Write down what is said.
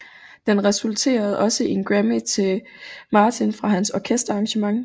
Den resulterede også i en Grammy til Martin for hans orkesterarrangement